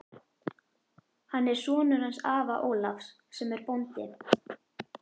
Hann er sonur hans afa Ólafs sem er bóndi.